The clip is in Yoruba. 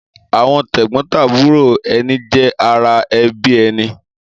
Àwọn tẹ́gbọ́ntàbúrò ẹni jẹ́ ara ẹbí ẹni.